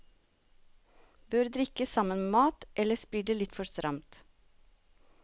Bør drikkes sammen med mat, ellers blir det litt for stramt.